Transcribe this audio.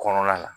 Kɔnɔna na